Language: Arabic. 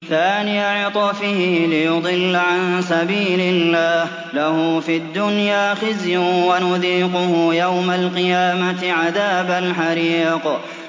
ثَانِيَ عِطْفِهِ لِيُضِلَّ عَن سَبِيلِ اللَّهِ ۖ لَهُ فِي الدُّنْيَا خِزْيٌ ۖ وَنُذِيقُهُ يَوْمَ الْقِيَامَةِ عَذَابَ الْحَرِيقِ